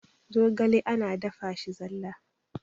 zogale ana dafa shi zalla